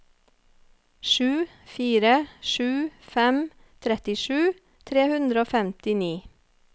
sju fire sju fem trettisju tre hundre og femtini